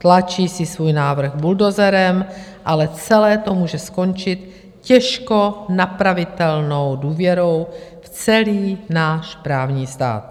Tlačí ten svůj návrh buldozerem, ale celé to může skončit těžko napravitelnou důvěrou v celý náš právní stát.